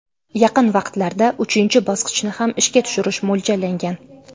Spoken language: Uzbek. Yaqin vaqtlarda uchinchi bosqichni ham ishga tushirish mo‘ljallangan.